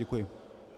Děkuji.